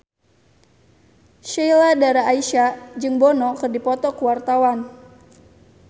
Sheila Dara Aisha jeung Bono keur dipoto ku wartawan